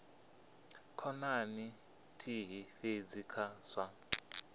khonani nthihi fhedzi kha zwa